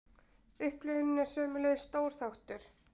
Upplifunin er sömuleiðis stór þáttur.